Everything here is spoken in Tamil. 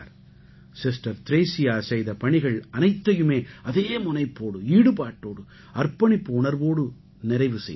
சிஸ்டர் த்ரேஸியா செய்த பணிகள் அனைத்தையுமே அதே முனைப்போடு ஈடுபாட்டோடு அர்ப்பணிப்பு உணர்வோடு நிறைவு செய்தார்